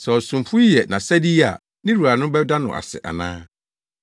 Sɛ ɔsomfo yi yɛ nʼasɛde yi a ne wura no bɛda no ase ana?